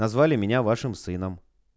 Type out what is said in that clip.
назвали меня вашим сыном